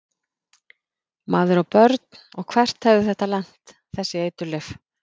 Maður á börn og hvert hefði þetta lent, þessi eiturlyf?